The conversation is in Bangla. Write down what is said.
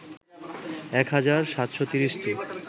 ১ হাজার ৭৩০টি